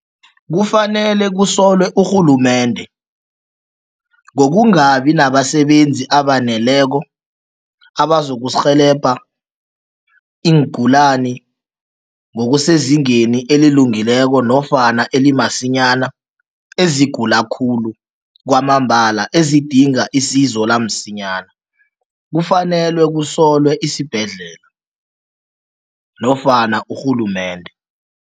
Kufanele kusolwe urhulumende ngokungabi nabasebenzi abaneleko abazokurhelebha iingulani ngokusezingeni elilungileko nofana elimasinyana, ezigula khulu kwamambala, ezidinga isizo lamsinyana. Kufanelwe kusolwe isibhedlela nofana urhulumende.